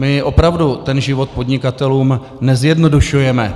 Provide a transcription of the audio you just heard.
My opravdu ten život podnikatelům nezjednodušujeme.